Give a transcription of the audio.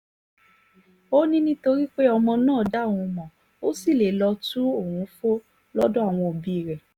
ó ní nítorí pé ọmọ náà dá òun mọ́ ó sì lè lọ́ọ́ tu òun fó lọ́dọ̀ àwọn òbí rẹ̀